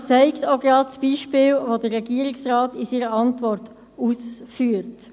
Das zeigt auch gerade das Beispiel, welches der Regierungsrat in seiner Antwort aufführt.